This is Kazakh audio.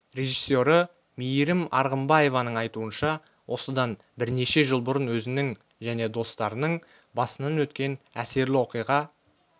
режиссері мейірім арғымбаеваның айтуынша осыдан бірнеше жыл бұрын өзінің және достарының басынан өткен әсерлі оқиға